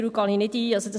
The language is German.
Diese lehnen wir ab.